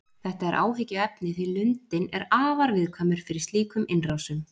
Þetta er áhyggjuefni því lundinn er afar viðkvæmur fyrir slíkum innrásum.